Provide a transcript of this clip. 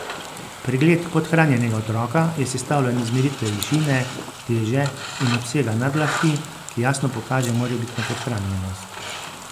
Pregled podhranjenega otroka je sestavljen iz meritve višine, teže in obsega nadlahti, ki jasno pokaže morebitno podhranjenost.